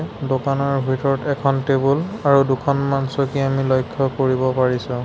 দোকানৰ ভিতৰত এখন টেবুল আৰু দুখনমান চকী আমি লক্ষ্য কৰিব পাৰিছোঁ।